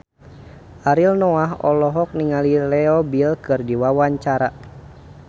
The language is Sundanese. Ariel Noah olohok ningali Leo Bill keur diwawancara